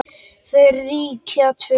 Þau ríkja tvö.